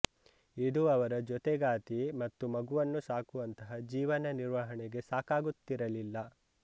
ಇದು ಅವರ ಜೊತೆಗಾತಿ ಮತ್ತು ಮಗುವನ್ನು ಸಾಕುವಂತಹ ಜೀವನ ನಿರ್ವಹಣೆಗೆ ಸಾಕಾಗುತ್ತಿರಲಿಲ್ಲ